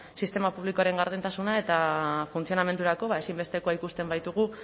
sistema publikoaren gardentasuna eta funtzionamendurako ezinbestekoa ikusten baitugu